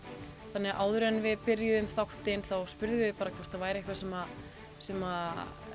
þannig áður en við byrjuðum þáttinn þá spurðum við bara hvort það væri eitthvað sem sem